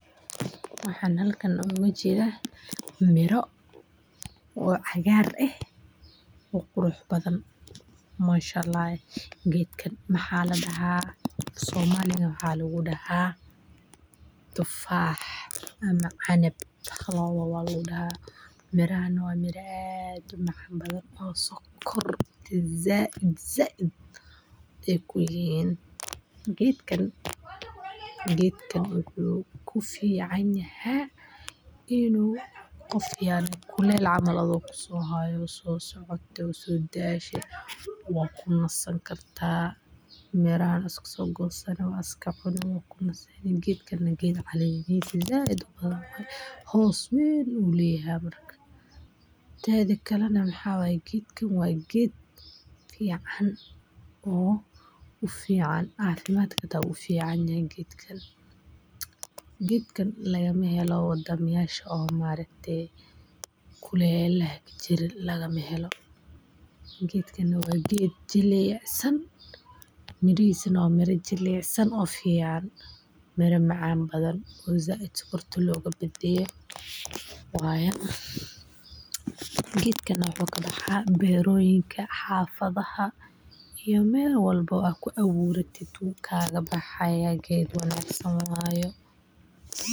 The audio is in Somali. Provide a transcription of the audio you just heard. Waxan halkan ogajeda miro oo cagaar eh oo qurux badan, manshaalah eh gedkan waxa ladaha somali waxa lagudaha tufaah ama canab lawadabo waladaha, mirahan wa miraa aad umacan badan oo sokorta zaid zaid ay kuleyihin, geedkan wuxu kuficanyaha inu kulel camal sohayo sosocoto oo sodashe wad kunasn karta mirahan iskasogosani wad iskacuni, geedkan wa geed calen zaid ubadan waye hoos weyn ayu leyaha tedakale waxa waye geedkan wa geed fican oo ufican cafimadka hata wuuficanyahay geedkan, geedkan lagamahelo wadanyasha maarkate kulelaha kajiro lagamahelo, geedkan wa geed jilucsn murihisa nah wa miro jilicsan oo fican oo na macan badan oo zaid sokorta logabadbadiye waye geedkan wuxu kabaha beroyinka hafadaha iyo mel waobo aad kuawiratud wu kalabahaye geed wanagsan waye.